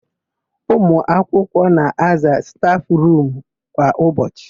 Ụmụakwụkwọ na-aza stafụrumu kwa ụbọchị.